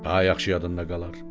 Daha yaxşı yadında qalar.